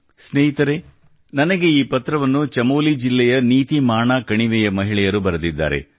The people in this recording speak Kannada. ಸ್ನೇಹಿತರೇ ನನಗೆ ಈ ಪತ್ರವನ್ನು ಚಮೋಲಿ ಜಿಲ್ಲೆಯ ನೀತಿಮಾಣ ಕಣಿವೆಯ ಮಹಿಳೆಯರು ಬರೆದಿದ್ದಾರೆ